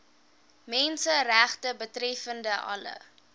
menseregte betreffende alle